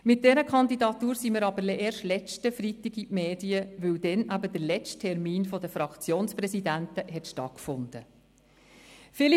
Mit dieser Kandidatur sind wir aber erst letzten Freitag in die Medien gelangt, weil dann der letzte Sitzungstermin der Fraktionspräsidenten stattgefunden hat.